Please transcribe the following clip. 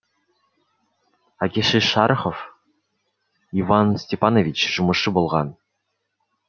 әкесі шорохов иван степанович жұмысшы болған